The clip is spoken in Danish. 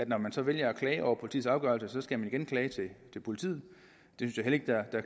når man så vælger at klage over politiets afgørelse skal man igen klage til politiet